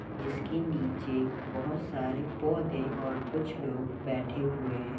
जिसके नीचे बहोत सारे पौधे और कुछ लोग बैठे हुए हैं।